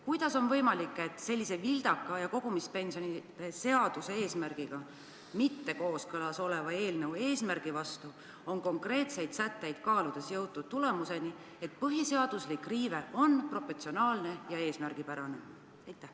Kuidas on võimalik, et sellise vildaka ja kogumispensionide seaduse eesmärgiga mitte kooskõlas oleva eelnõu konkreetseid sätteid kaaludes on jõutud järelduseni, et põhiseaduse riive on proportsionaalne ja eesmärgipärane?